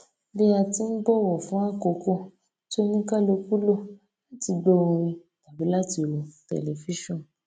bí a ti n bọwọ fún àkókò tí oníkálùkù lò láti gbó orin tàbí láti wo tẹlifíṣòn